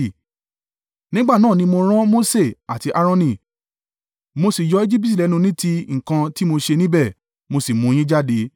“ ‘Nígbà náà ni mo rán Mose àti Aaroni, mo sì yọ Ejibiti lẹ́nu ní ti nǹkan tí mo ṣe níbẹ̀, mo sì mú yín jáde.